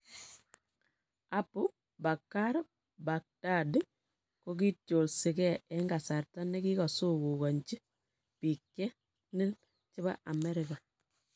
Abu Bakr al-Baghdadi kingotyolsigee en kasarta ne kigagisungugonchi biik che nin chebo Amerika